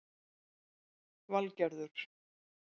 Valgerður